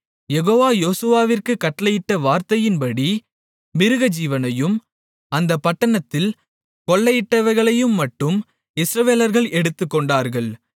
யெகோவா யோசுவாவிற்குக் கட்டளையிட்ட வார்த்தையின்படி மிருகஜீவனையும் அந்தப் பட்டணத்தில் கொள்ளையிட்டவைகளையும் மட்டும் இஸ்ரவேலர்கள் எடுத்துக்கொண்டார்கள்